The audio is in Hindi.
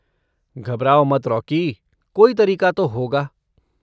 घबराओ मत रॉकी, कोई तरीक़ा तो होगा।